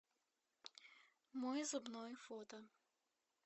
мой зубной фото